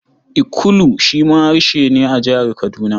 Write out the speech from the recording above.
Ikulu shi ma harshe ne a Jihar Kaduna.